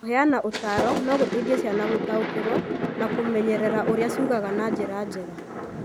Kũheana ũtaaro no gũteithie ciana gũtaũkĩrũo na kũmenyerera ũrĩa ciiguaga na njĩra njega.